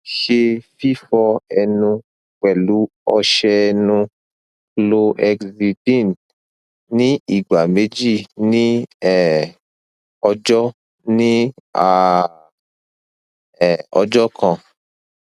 ṣe fifọ ẹnu pẹlu ọṣẹ ẹnu chlorhexidine ni igba meji ni um ọjọ ni um ọjọ kan